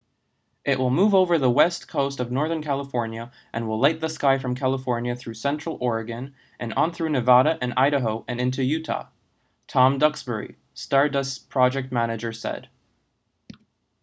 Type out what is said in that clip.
it will move over the west coast of northern california and will light the sky from california through central oregon and on through nevada and idaho and into utah tom duxbury stardust's project manager said